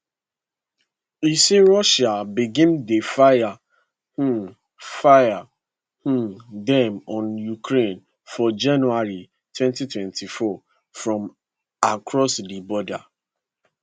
e say russia begin dey fire um fire um dem on ukraine for january 2024 from across di border